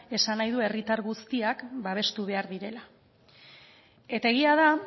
esan nahi du herritar guztiak babestu behar direla eta egia da